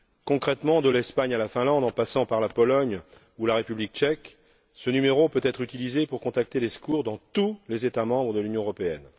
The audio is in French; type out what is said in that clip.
Concrètement, de l'Espagne à la Finlande, en passant par la Pologne ou la République tchèque, ce numéro peut être utilisé pour contacter les secours dans tous les États membres de l'Union européenne.